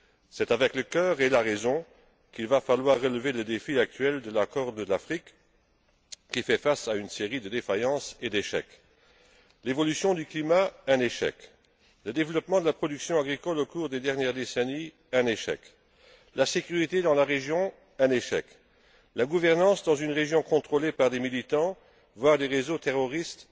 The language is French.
C'est avec le cœur et la raison qu'il va falloir relever le défi actuel de la Corne de l'Afrique, qui fait face à une série de défaillances et d'échecs évolution du climat, développement de la production agricole au cours des dernières décennies, sécurité dans la région, gouvernance dans une région contrôlée par des militants, voire des réseaux terroristes,